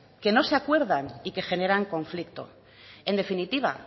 que no se acuerdan y que generan conflicto en definitiva